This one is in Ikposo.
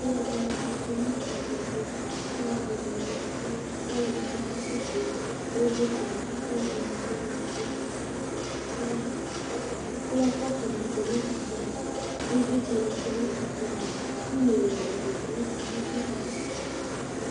Ɔlu ɔdini za uti nu ɛkplɔtu ku ɔlu ɔdini ya ɛvu ku ɔlu ɔdi bi Kakɔsu ivlitsɛ ku ɔlu ɔdini keŋlo ɛku Ku kɔpu ni tsue nu ɛkKu ivlitsɛni tsue 'nu ɛkplɔ yɛ ava Ku ivlitsɛni tsue nu ɛkplɔ ava Ku iyeyui zɛlɛ tu nu ugli tu